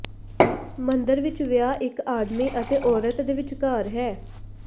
ਮੰਦਰ ਵਿਚ ਵਿਆਹ ਇਕ ਆਦਮੀ ਅਤੇ ਔਰਤ ਦੇ ਵਿਚਕਾਰ ਹੈ